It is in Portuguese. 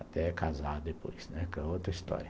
Até casar depois, né, que é outra história.